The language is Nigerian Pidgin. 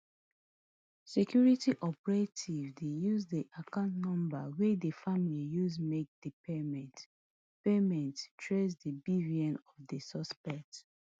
security operatives use di account number wey di family use make di payment payment trace di bvn of di suspect